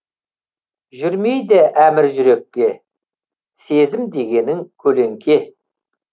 жүрмейді әмір жүрекке сезім дегенің көлеңке